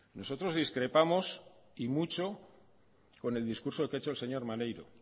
nosotros discrepamos y mucho con el discurso que ha hecho el señor maneiro